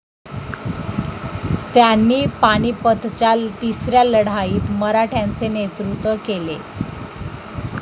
त्यांनी पानिपतच्या तिसऱ्या लढाईत मराठ्यांचे नेतृत्व केले.